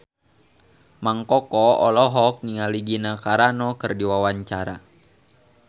Mang Koko olohok ningali Gina Carano keur diwawancara